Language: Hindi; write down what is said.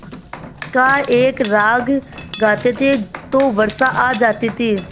का एक राग गाते थे तो वर्षा आ जाती थी